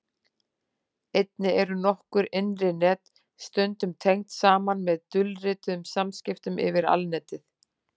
Einnig eru nokkur innri net stundum tengd saman með dulrituðum samskiptum yfir Alnetið.